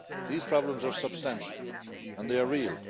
These problems are substantial and they are real.